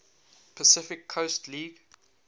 pacific coast league